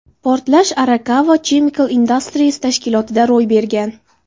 Portlash Arakawa Chemical Industries tashkilotida ro‘y bergan.